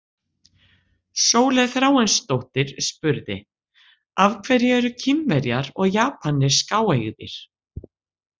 Sóley Þráinsdóttir spurði: Af hverju eru Kínverjar og Japanir skáeygðir?